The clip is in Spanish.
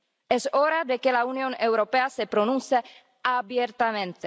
Es hora de que la Unión Europea se pronuncie abiertamente.